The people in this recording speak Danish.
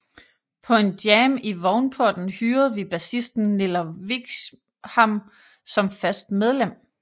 På en jam i Vognporten hyrede vi bassisten Niller Wischamnn som fast medlem